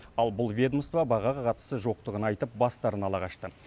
ал бұл ведомство бағаға қатысы жоқтығын айтып бастарын ала қашты